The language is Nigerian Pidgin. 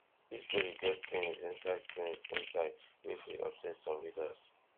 dis story get tins inside tins inside wey fit upset some readers